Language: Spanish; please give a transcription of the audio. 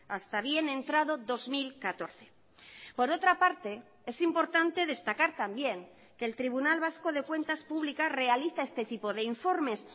hasta bien entrado dos mil catorce por otra parte es importante destacar también que el tribunal vasco de cuentas públicas realiza este tipo de informes